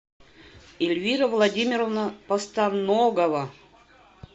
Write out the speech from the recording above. эльвира владимировна постаногова